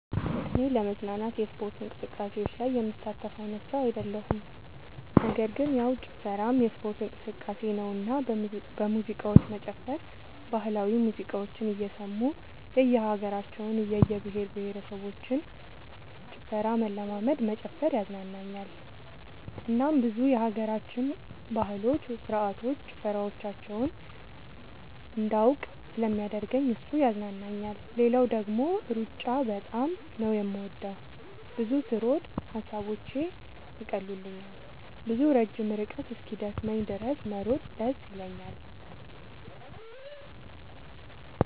እኔ ለመዝናናት የስፖርት እንቅስቃሴዎች ላይ የምሳተፍ አይነት ሰው አይደለሁም ነገር ግን ያው ጭፈራም የስፖርት እንቅስቃሴ ነውና በሙዚቃዎች መጨፈር ባህላዊ ሙዚቃዎችን እየሰሙ የእየሀገራቸውን የእየብሄረሰቦችን ጭፈራ መለማመድ መጨፈር ያዝናናኛል እናም ብዙ የሀገራችንን ባህሎች ስርዓቶች ጭፈራዎቻቸውን እንዳውቅ ስለሚያደርገኝ እሱ ያዝናናኛል። ሌላው ደግሞ ሩጫ በጣም ነው የምወደው። ብዙ ስሮጥ ሐሳቦቼን ይቀሉልኛል። ብዙ ረጅም ርቀት እስኪደክመኝ ድረስ መሮጥ ደስ ይለኛል።